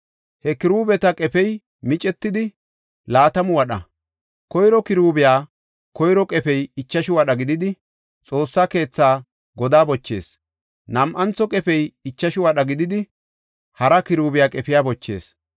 He kiruubeta qefey micetidi, laatamu wadha; koyro kiruubiya koyro qefey ichashu wadha gididi, Xoossa keetha godaa bochees; nam7antho qefey ichashu wadha gididi, hara kiruubiya qefiya bochees.